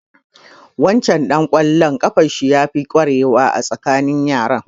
Waccan ɗan ƙwallon ƙafan shi ya fi ƙwarewa a tsakanin yaran.